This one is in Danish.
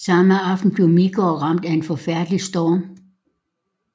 Samme aften blev Midgård ramt af en forfærdelig storm